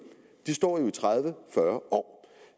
de står jo i tredive fyrre år